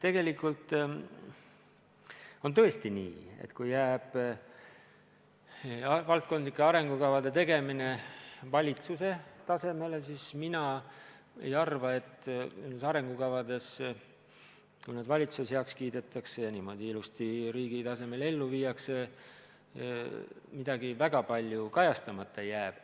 Tegelikult on tõesti nii, et kui jääb valdkondlike arengukavade tegemine valitsuse tasemele, siis mina ei arva, et nendes arengukavades, kui need valitsuses heaks kiidetakse ja niimoodi ilusti riigi tasemel ellu viiakse, midagi väga palju kajastamata jääb.